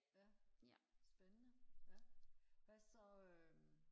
ja spændende ja hvad så øhm